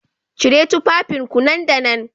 Cire tufafinku nan da nan